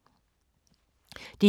DR1